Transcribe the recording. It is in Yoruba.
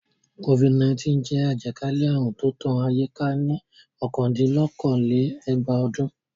Covid-19 jẹ́ àjàkálẹ̀ àrùn tó tán ayé ká ní ọ̀kandín-lókòó-lé-ẹgbàá ọdún.